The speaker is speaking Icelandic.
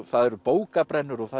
það eru bókabrennur og það